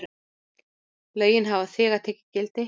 Lögin hafa þegar tekið gildi.